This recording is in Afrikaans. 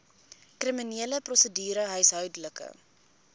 kriminele prosedure huishoudelike